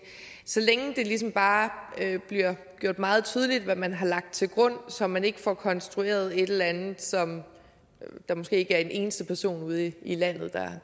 så længe det ligesom bare bliver gjort meget tydeligt hvad man har lagt til grund så man ikke får konstrueret et eller andet som der måske ikke er en eneste person ude i landet